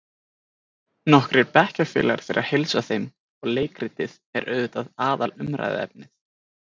Nokkrir bekkjarfélagar þeirra heilsa þeim og leikritið er auðvitað aðalumræðuefnið.